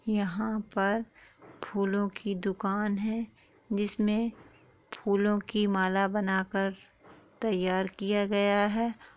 यहां पर फूलों की दुकान है जिसमें फूलों की माला बनाकर तैयार किया गया है।